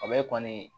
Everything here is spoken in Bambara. O bɛ kɔni